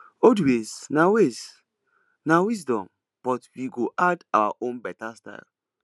old ways na ways na wisdom but we go add our own beta style